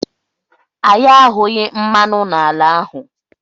Anyị ahụghị mmanụ n'ala ahụ.